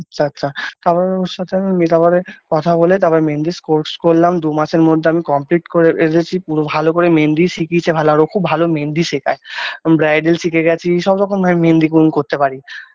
আচ্ছা আচ্ছা তারপরে ওর সাথে আমি মেটাবরে কথা বলে তারপরে মেহেন্দিস course করলাম দু মাসের মধ্যে আমি complete করে ফেলেছি পুরো ভালো করে মেহেন্দি শিখিয়েছে ভালো আর ও খুব ভালো মেহেন্দি শেখায় bridal শিখে গেছি সব রকম ভাবে আমি মেহেন্দি করতে পারি।